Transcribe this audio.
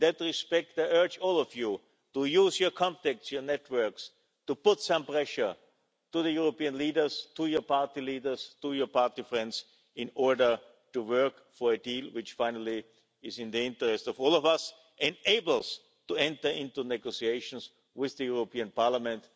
In that respect, I urge all of you to use your contacts and your networks to put some pressure on the European leaders, your party leaders and your party friends in order to work for a deal which, finally, is in the interest of all of us and enables us to enter into negotiations with the European Parliament.